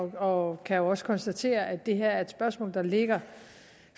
og jo også kan konstatere at det her er et spørgsmål der ligger